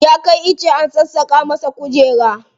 Ya kai ice an sassaƙa mishi kujera.